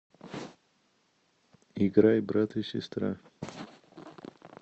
играй брат и сестра